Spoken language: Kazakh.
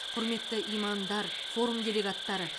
құрметті имамдар форум делегаттары